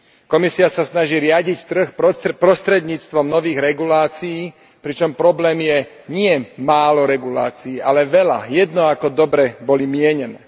Komisia sa snaží riadiť trh prostredníctvom nových regulácií, pričom problémom nie je málo regulácií, ale veľa, jedno ako dobre boli mienené.